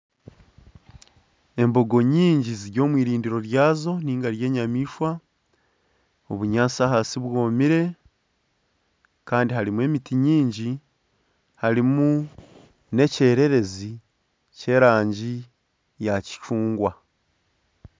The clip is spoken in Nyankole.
Embongo nyingi ziri omu irindiro ry'enyamaishwa, obunyaatsi ahansi bwomire kandi harimu emiti mingi kandi harimu n'ekyerereze ky'erangi ya kicungwa